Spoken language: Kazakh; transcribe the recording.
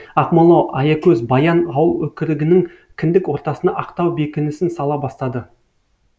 ақмола аякөз баян ауыл өкірігінің кіндік ортасына ақтау бекінісін сала бастады